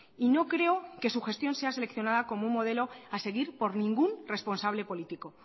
y no creo que su gestión sea seleccionada como un modelo a seguir por ningún responsable político